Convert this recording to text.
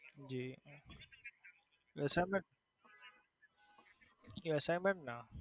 assignment assignment ના